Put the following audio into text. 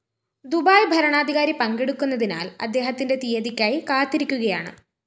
Dubai ഭരണാധികാരി പങ്കെടുക്കുന്നതിനാല്‍ അദ്ദേഹത്തിന്റെ തീയതിക്കായി കാത്തിരിക്കുകയാണ്